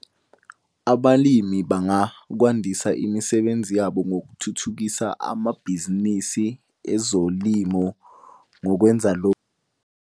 Abalimi bangakwandisa imisebenzi yabo ngokuthuthukisa amabhizinisi ezolimo ngokwenza .